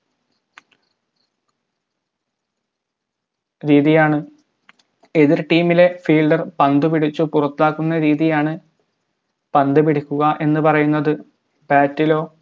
ആണ് എതിർ team ലെ fielder പന്ത് പിടിച്ചു പുറത്താക്കുന്ന രീതിയാണ് പന്ത് പിടിക്കുക എന്ന് പറയുന്നത് bat ലോ